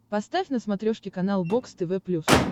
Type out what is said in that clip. поставь на смотрешке канал бокс тв плюс